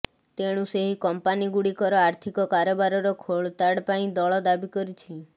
ତେଣୁ ସେହି କମ୍ପାନୀଗୁଡ଼ିକର ଆର୍ଥିକ କାରବାରର ଖୋଳତାଡ଼ ପାଇଁ ଦଳ ଦାବି କରିଛି